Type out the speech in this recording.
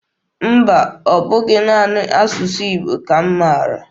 Mba, ọ bụghị naanị asụsụ Igbo ka m maara.